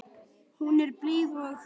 Hún er blíð og ófröm.